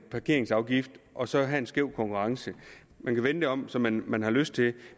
parkeringsafgift og så have en skæv konkurrence man kan vende det om som man man har lyst til